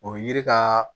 O yiri ka